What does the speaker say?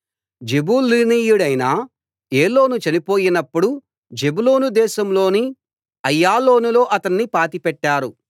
జెబూలూనీయుడైన ఏలోను చనిపోయినప్పుడు జెబూలూను దేశంలోని అయ్యాలోనులో అతన్ని పాతిపెట్టారు